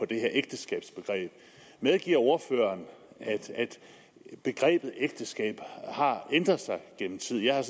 det her ægteskabsbegreb medgiver ordføreren at begrebet ægteskab har ændret sig gennem tiden jeg har